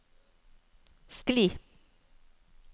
skli